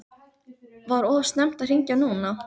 Var of snemmt að hringja núna?